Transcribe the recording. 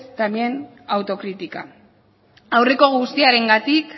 también autocrítica aurreko guztiarengatik